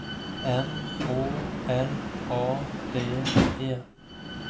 M Å L A D E